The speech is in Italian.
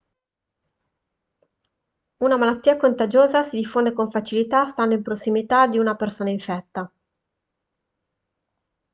una malattia contagiosa si diffonde con facilità stando in prossimità di una persona infetta